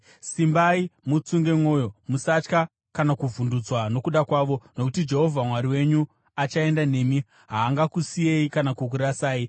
Simbai mutsunge mwoyo. Musatya kana kuvhundutswa nokuda kwavo, nokuti Jehovha Mwari wenyu achaenda nemi; haangakusiyei kana kukurasai.”